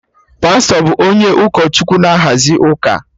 Pastọ bụ onye ụkọ Chukwu na-ahazi ụka